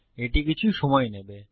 এটি কিছু সময় নেবে